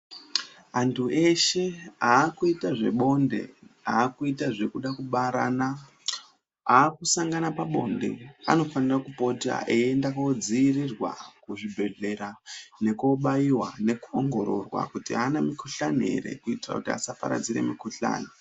Antu eshe akuita zvebonde akuita zvekuda kubarana akusangana pabonde anofana kupota eienda kundodzivirirwa kuzvibhedhlera nekubaiwa nekuongororwa kuti haana mikuhlani here kuitira kuti asaparadzira mukuhlani.